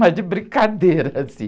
Mas de brincadeira, assim.